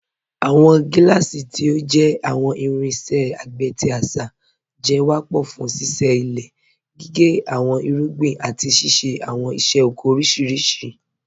Awọn giláàsí, tí ó jẹ́ awọn irinṣẹ̀ àgbé tí àṣá, jẹ́ wápọ̀ fún síṣẹ ilẹ̀, gígẹ́ awọn irúgbìn, àti ṣíṣẹ̀ awọn iṣẹ̀ ọkọ̀ oríṣiríṣì.